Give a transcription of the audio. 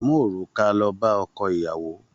Mú òrùka lọ bá ọkọ ìyàwó!